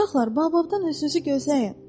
Uşaqlar, bababdan özünüzü gözləyin!